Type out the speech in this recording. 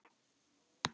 Ekki vinna.